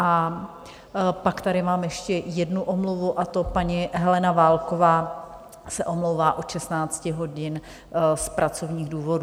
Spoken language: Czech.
A pak tady mám ještě jednu omluvu, a to paní Helena Válková se omlouvá od 16 hodin z pracovních důvodů.